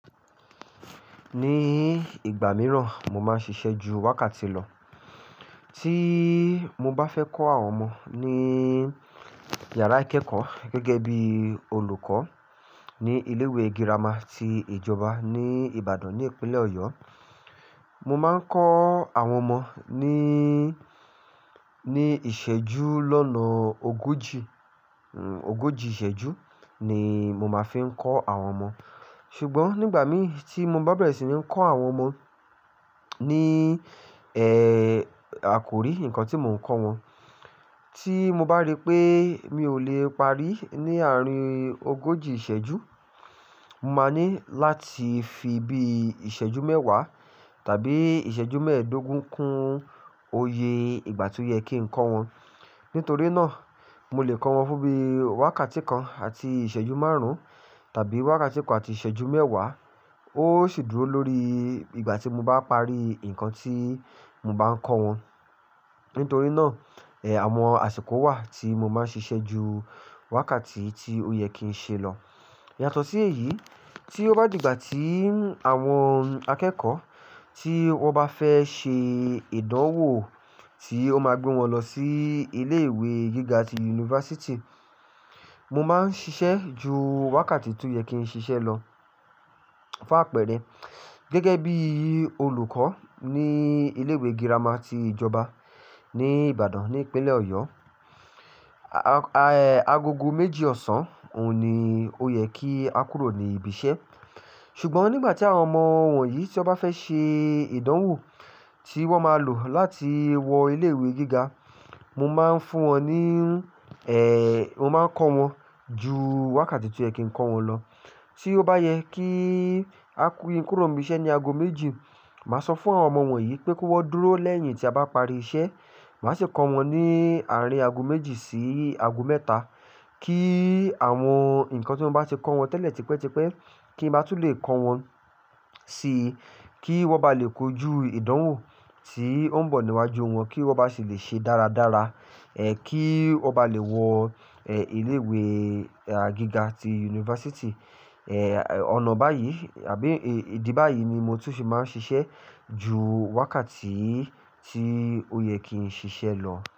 Ní ìgbà mìíràn mo máa ń ṣiṣẹ́ ju wákàtí lọ. Tí mo bá fẹ́ kọ́ àwọn ọmọ ní yàrá ìkẹ́kọ̀ọ́ gẹ́gẹ́ bí olùkọ́ ní ilé ìwé girama ti ìjọba ní Ìbàdàn ni ìpínlẹ̀ Ọ̀yọ́. Mo máa ń kọ́ àwọn ọmọ ní, ní ìṣẹ́jú lọ́nà ogójì, ogójì ìṣẹ́jú ni mo máa fi ń kọ́ àwọn ọmọ. Ṣùgbọ́n nígbà mí tí mo bá bẹ̀rẹ̀ sí ní kọ́ àwọn ọmọ ní, ẹ́, àkòrí nǹkan tí mò ń kọ́ wọn, tí mo bá rí pé mi ò lè parí ní àárín ogójì ìṣẹ́jú, mo máa ní láti fi bí ìṣẹ́jú mẹ́wàá tàbí ìṣẹ́jú mẹ́ẹ̀ẹ́dógún kún oyè ìgbà tí ó yẹ kí n kọ́ wọn. Nítorí náà, mo lè kọ́ wọn fún bí wákàtí kan àti ìṣẹ́jú márùn-ún tàbí wákàtí kan àti ìṣẹ́jú mẹ́wàá. Ó sì dúró lórí ìgbà tí mo bá parí nǹkan tí mo bá ń kọ́ wọn. Nítorí náà, ẹ́, àwọn àsìkò wà tí mo máa ń ṣiṣẹ́ ju wákàtí tí ó yẹ kí n ṣe lọ. Yàtọ̀ sí èyí, tí ó bá di ìgbà tí àwọn akẹ́kọ̀ọ́ tí wọ́n bá fẹ́ ṣe ìdánwò tí ó máa gbé wọn lọ sí ilé ìwé gíga ti yunifásítì, mo máa ń ṣiṣẹ́ ju wákàtí tó yẹ kí n ṣiṣẹ́ lọ. Fáàpẹ́rẹ́, gẹ́gẹ́ bí olùkọ́ ní ilé ìwé girama ti ìjọba ní Ìbàdàn ni ìpínlẹ̀ Ọ̀yọ́, a-a-agogo méjì ọ̀sán òun ni ó yẹ kí a kúrò ní ibi iṣẹ́. Ṣùgbọ́n nígbà tí àwọn ọmọ wọ̀nyí tí wọ́n bá fẹ́ ṣe ìdánwò tí wọ́n máa lò láti wọ ilé ìwé gíga, mo máa ń fún wọn ní, ẹ́, mo máa ń kọ́ wọn ju wákàtí tó yẹ kí n kọ́ wọn lọ. Tí ó bá yẹ kí a kú, kí n kúrò ní ibi iṣẹ́ ní ago méjì, màá sọ fún àwọn ọmọ wọ̀nyí pé kó wọ́n dúró lẹ́yìn tí a bá parí iṣẹ́. Màá sì kọ́ wọn ní àárín ago méjì sí ago mẹ́ta kí àwọn nǹkan tí mo bá ti kọ́ wọn tẹ́lẹ̀ tipẹ́tipẹ́ kí n máa tún lè kọ́ wọn sí kí wọ́n bá lè kojú ìdánwò tí ó ń bọ̀ níwájú wọn kí wọ́n bá sì lè ṣe dáradára. Ẹ̀, kí wọ́n bá lè wọ, ẹ́, ilé ìwé gíga ti yunifásítì. Ẹ̀, ọ̀nà báyìí àbí ìdí báyìí ni mo tún fi máa ń ṣiṣẹ́ ju wákàtí tí ó yẹ kí n ṣiṣẹ́ lọ.